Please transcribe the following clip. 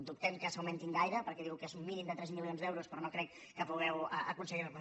dubtem que s’augmentin gaire perquè diu que és un mínim de tres milions d’euros però no crec que pugueu aconseguir ne